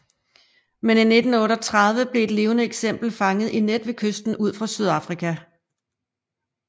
Men i 1938 blev et levende eksemplar fanget i net ved kysten ud for Sydafrika